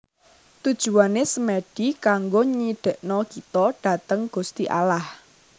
Tujuane Semedi kanggo nyidekno kito dateng Gusti Allah